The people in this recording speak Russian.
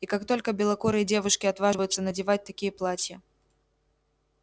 и как только белокурые девушки отваживаются надевать такие платья